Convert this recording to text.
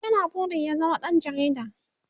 ya na burin ya zama ɗan jarida